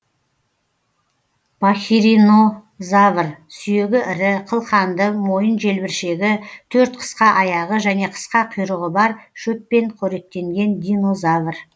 пахиринозавр сүйегі ірі қылқанды мойын желбіршегі төрт қысқа аяғы және қысқа құйрығы бар шөппен қоректенген динозавр